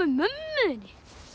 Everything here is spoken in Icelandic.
mömmu þinni